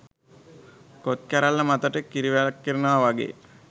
කොත් කැරැල්ල මතට කිරි වැක්කෙරෙනවා වගේ.